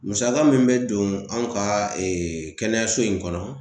Musaka min be don anw ka ee kɛnɛyaso in kɔnɔ